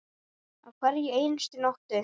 Á hverri einustu nóttu.